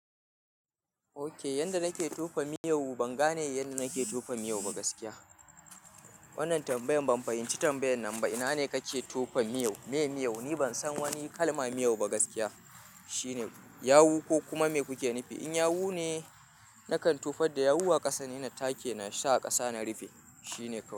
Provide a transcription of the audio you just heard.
Ok, yanda nake tofa miyau ban gane yanda nake tofa miyau ba gaskiya. Wannan tambayan ban fahimci tambayan nan ba. Ina ne kake tofa miyau? Me miyau? Ni ban san wani kalma miyau ba gaskiya. Shine yawu ko kuma me kuke nufi? In yawu ne, nakan tofar da yawu a ƙasa, ne na take, na sa a ƙasa na rufe. Shine kawai.